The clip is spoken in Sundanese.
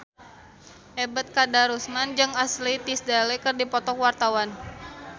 Ebet Kadarusman jeung Ashley Tisdale keur dipoto ku wartawan